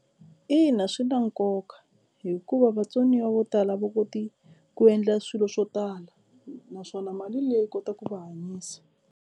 Ina swi na nkoka hikuva vatsoniwa vo tala a va koti ku endla swilo swo tala naswona mali leyi yi kota ku va hanyisa.